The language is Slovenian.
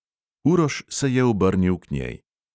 Uroš se je obrnil k njej.